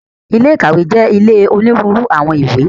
Ilé ìkàwé jẹ́ ilé onírúurú àwọn ìwé.